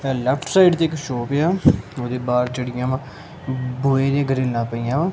Left side ਦੀ ਇੱਕ shop ਆ ਉਹਦੇ ਬਾਹਰ ਚਿੜੀਆਂ ਵਾ ਬੋਏ ਦੀ ਗਰੀਨਾ ਪਈਆਂ ਵਾ।